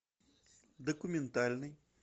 документальный